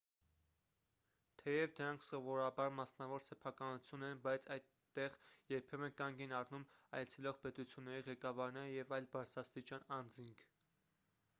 թեև դրանք սովորաբար մասնավոր սեփականություն են բայց այդտեղ երբեմն կանգ են առնում այցելող պետությունների ղեկավարները և այլ բարձրաստիճան անձինք